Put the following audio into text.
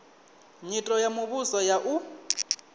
nyito ya muvhuso ya u